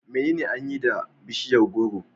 Menene an yi da da bishiyar gworo?